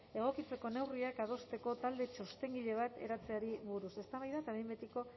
egokitzeko neurriak adosteko talde txostengile bat eratzeari buruz eztabaida eta behin betiko